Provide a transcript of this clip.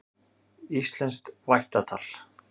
Íslenskt vættatal.